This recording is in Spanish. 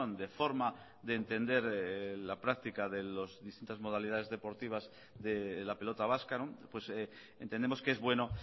de forma de entender la práctica de las distintas modalidades deportivas de la pelota vasca entendemos que es bueno